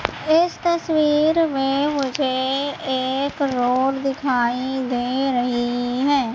इस तस्वीर मे मुझे एक रोड दिखाई दे रही है।